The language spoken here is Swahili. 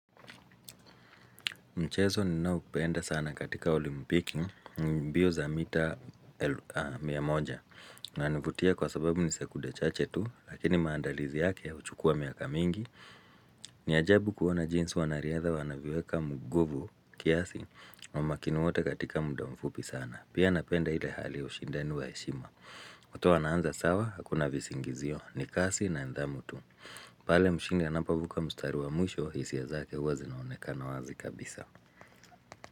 Mchezo ninaoupenda sana katika olimpiki ni mbio za mita mia moja. Unanivutia kwa sababu ni sekunde chache tu, lakini maandalizi yake huchukua miaka mingi. Ni ajabu kuona jinsi wanariadha wanavyoweka nguvu kiasi wamakini wote katika muda mfupi sana. Pia napenda ile hali ushindani wa heshima. Wote wanaanza sawa, hakuna visingizio ni kasi na ndamu tu. Pale mshindi anapovuka mstari wa mwisho, hisia zake hua zinaonekana wazi kabisa.